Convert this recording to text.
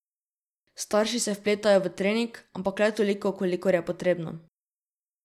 Starši se vpletajo v trening, ampak le toliko, kolikor je potrebno.